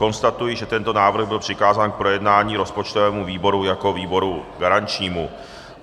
Konstatuji, že tento návrh byl přikázán k projednání rozpočtovému výboru jako výboru garančnímu.